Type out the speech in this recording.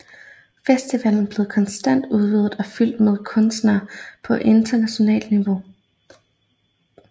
Festivalen blev konstant udvidet og fyldt med kunstnere på internationalt niveau